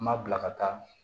N ma bila ka taa